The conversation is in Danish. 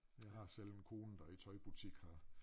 Jeg har selv en kone der i tøjbutik her